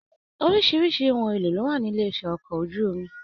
Oríṣiríṣi ohùn èlò ló wà ní ilé-iṣẹ́ ọkọ̀ ojú omi.